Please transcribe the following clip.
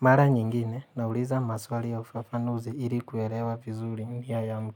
Mara nyingine nauliza maswali ya ufafanuzi ili kuelewa vizuri nia yamu.